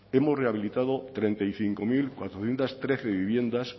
hemos rehabilitado treinta y cinco mil cuatrocientos trece viviendas